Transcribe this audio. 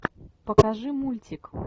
покажи мультик